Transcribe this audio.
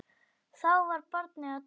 Þá var barið að dyrum.